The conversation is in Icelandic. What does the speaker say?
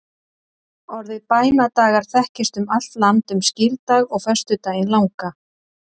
Orðið bænadagar þekkist um allt land um skírdag og föstudaginn langa.